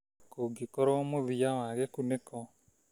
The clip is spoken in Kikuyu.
Kũngĩkorwo mũthia wa gĩkunĩko